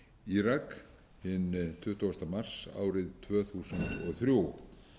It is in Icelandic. írak hinn tuttugu mars árið tvö þúsund og þrjú